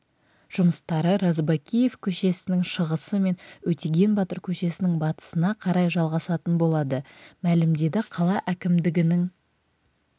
жұмыстары розыбакиев көшесінің шығысы мен өтеген батыр көшесінің батысына қарай жалғасатын болады мәлімдеді қала әкімдігінің